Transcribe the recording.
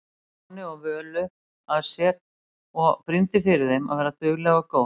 Stjána og Völu að sér og brýndi fyrir þeim að vera dugleg og góð.